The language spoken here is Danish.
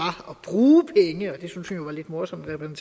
lidt morsomt at en